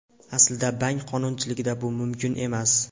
Aslida bank qonunchiligida bu mumkin emas.